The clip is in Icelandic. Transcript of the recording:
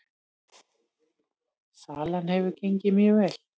Salan hefur gengið mjög vel